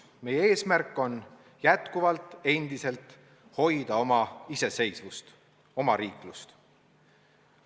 Meie eesmärk on endiselt hoida oma iseseisvust, omariiklust.